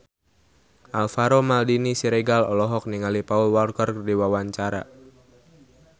Alvaro Maldini Siregar olohok ningali Paul Walker keur diwawancara